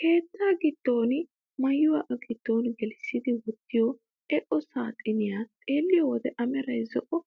Keettaa giddon maayuwaa a giddo gelissidi wottiyoo eqo saaxiniyaa xeelliyoo wode a meray zo'o